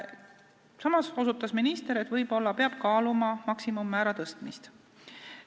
Samas ütles ta, et võib-olla peab kaaluma maksimummäära tõstmist.